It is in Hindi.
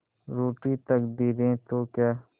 रूठी तकदीरें तो क्या